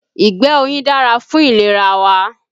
Ìgbẹ́ oyin dára fún ìlera wa